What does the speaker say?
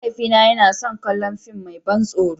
Mahaifina yana son kallon fim mai ban tsoro.